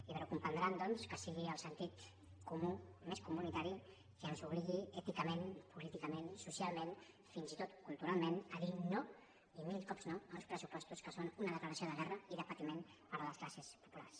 i deuen comprendre doncs que sigui el sentit comú més comunitari el que ens obligui èticament políticament i socialment fins i tot culturalment a dir no i mil cops no a uns pressupostos que són una declaració de guerra i de patiment per a les classes populars